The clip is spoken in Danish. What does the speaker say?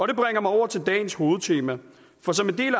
det bringer mig over til dagens hovedtema for som en del